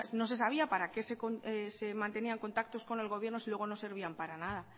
no se sabía para qué se mantenían contactos con el gobierno si luego no servían para nada